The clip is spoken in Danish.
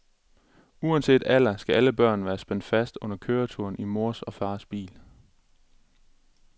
Uanset alder skal alle børn være spændt fast under køreturen i mors og fars bil.